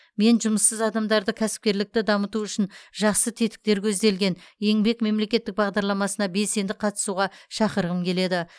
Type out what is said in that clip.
мен жұмыссыз адамдарды кәсіпкерлікті дамыту үшін жақсы тетіктер көзделген еңбек мемлекеттік бағдарламасына белсенді қатысуға шақырғым келеді